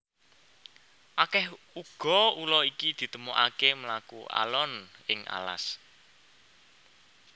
Akeh uga ula iki ditemokaké mlaku alon ing alas